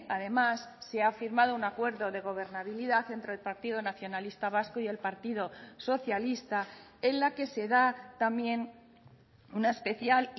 además se ha firmado un acuerdo de gobernabilidad entre el partido nacionalista vasco y el partido socialista en la que se da también una especial